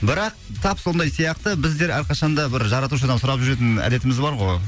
бірақ тап сондай сияқты біздер әрқашанда бір жаратушыдан сұрап жүретін әдетіміз бар ғой